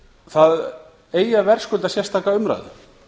það eigi að verðskulda sérstaka umræðu